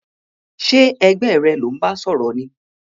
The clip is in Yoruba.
Sé ẹgbẹ́ rẹ lò n ba sòrò ni?